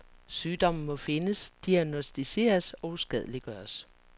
Sygdommen må findes, diagnosticeres og uskadeliggøres.